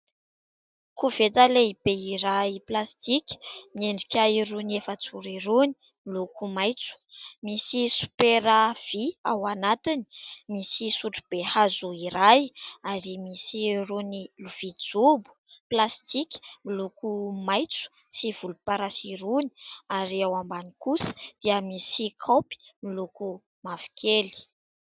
Koveta lehibe iray plastika, miendrika irony efajoro irony, miloko maitso. Misy sopera vy ao anatiny, misy sotrobe hazo iray ary misy irony vilia jobo plastika miloko maitso sy volomparasy irony ary ao ambany kosa dia misy kaopy miloko mavokely.